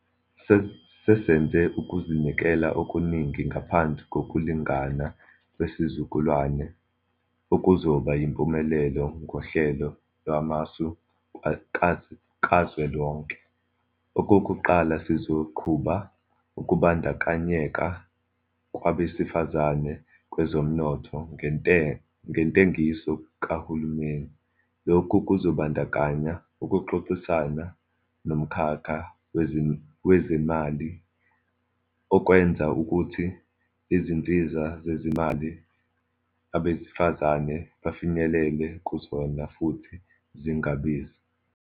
Sesenze ukuzinikela okuningi ngaphansi Kokulingana Kwesizukulwana okuzoba yimpumelelo ngoHlelo Lwamasu Kazwelonke. Okokuqala, sizoqhuba ukubandakanyeka kwabesifazane kwezomnotho ngentengiso kahulumeni. Lokhu kuzobandakanya ukuxoxisana nomkhakha wezezimali ukwenza ukuthi izinsiza zezimali abesifazane bafinyelele kuzona futhi zingabizi.